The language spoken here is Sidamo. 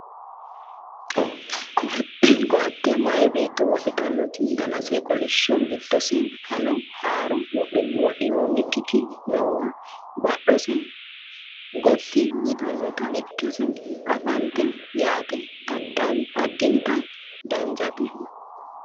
ko"atte maye beetto wodhitannoti danase kolishsho giddose fano haaro wodhinoonnikiti noowa badhiidose gotti yitinota ikkase anfannite yaate addinta danchate .